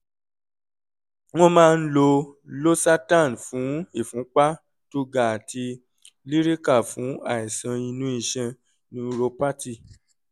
wọ́n máa ń lo losartan fún ìfúnpá tó ga àti lyrica fún àìsàn inú iṣan neuropathy